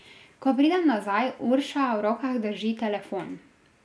Ko pridem nazaj, Urša v rokah drži telefon.